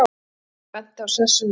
Gunnar benti á sessunaut sinn.